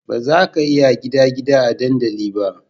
Bazaka iya gida gida a dandali ba